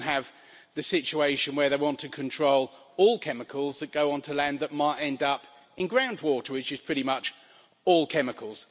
We even have the situation where they want to control all chemicals that go onto land that might end up in groundwater which is pretty much all chemicals.